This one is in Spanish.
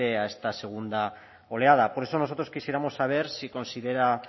a esta segunda oleada por eso nosotros quisiéramos saber si considera